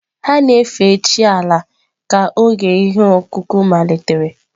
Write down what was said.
Ha na-efe chi Ala ka oge ihe ọkụkụ malitere.